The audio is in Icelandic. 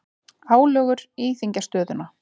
Álögur þyngja stöðuna